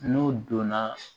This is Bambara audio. N'o donna